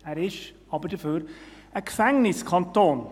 Er ist aber dafür ein Gefängniskanton.